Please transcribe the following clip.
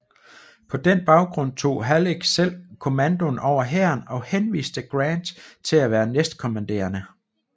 På den baggrund tog Halleck selv kommandoen over hæren og henviste Grant til at være næstkommanderende